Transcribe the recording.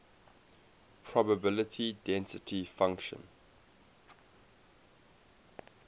probability density function